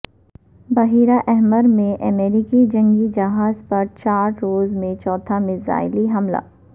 بحیرہ احمرمیں امریکی جنگی جہازپر چار روز میں چوتھا میزائل حملہ